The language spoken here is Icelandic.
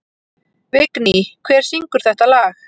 Vigný, hver syngur þetta lag?